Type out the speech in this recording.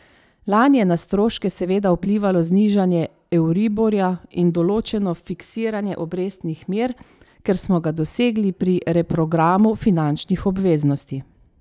Lani je na stroške seveda vplivalo znižanje euriborja in določeno fiksiranje obrestnih mer, ki smo ga dosegli pri reprogramu finančnih obveznosti.